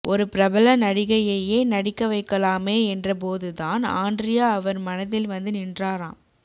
ஒரு பிரபல நடிகையையே நடிக்க வைக்கலாமே என்றபோதுதான் ஆண்ட்ரியா அவர் மனதில் வந்து நின்றாராம்